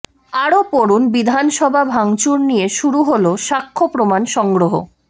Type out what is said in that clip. আরও পড়ুন বিধানসভা ভাঙচুর নিয়ে শুরু হল সাক্ষ্য প্রমাণ সংগ্রহ